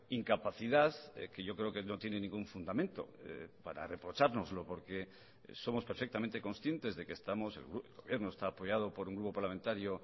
incapacidad que yo creo que no tiene ningún fundamento para reprochárnoslo porque somos perfectamente conscientes de que estamos el gobierno está apoyado por un grupo parlamentario